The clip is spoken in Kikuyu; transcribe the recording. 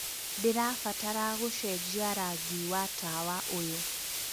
ndĩrabatara gũcenjia rangi wa tawa ũyũ